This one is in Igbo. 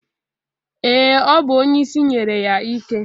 Ee, ọ bụ onyeisi nyere ya ike.